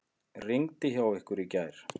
Rigndi hjá ykkur í gær?